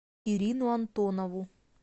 ирину антонову